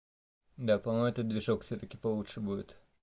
да по-моему этот движок всё-таки получше будет